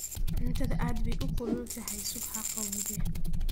cuntadu aad bay kulul utahay sug haqawowdee